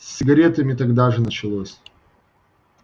с сигаретами тогда же началось